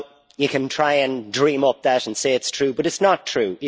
You can try and dream that up and say it is true, but it is not true.